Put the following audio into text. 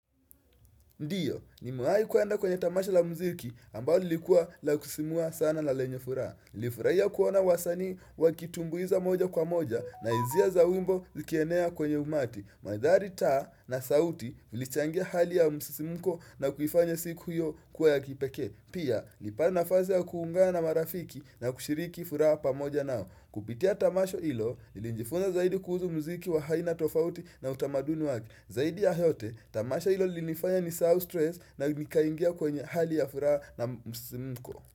Ndiyo, nimewai kuenda kwenye tamasha la mziki ambayo lilikuwa la kusismua sana na lenye furaa. Nilifuraia kuona wasanii wakitumbuiza moja kwa moja na izia za wimbo zikienea kwenye umati. Mandhari taa na sauti ilichangia hali ya msisimuko na kuifanya siku hiyo kuwa ya kipekee. Pia, nilipata nafaze ya kuungana na marafiki na kushiriki furaha pamoja nao. Kupitia tamasho hilo, nilijifunza zaidi kuuzu mziki wa haina tofauti na utamaduni wake. Zaidi ya yote, tamasha ilo lilinifanya nisahau stress na nikaingia kwenye hali ya furaha na msisimuko.